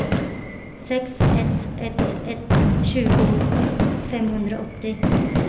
sex ett ett ett tjugo femhundraåttio